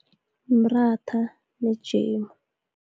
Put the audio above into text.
Umratha nejemu.